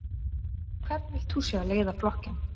Hvern vilt þú sjá leiða flokkinn?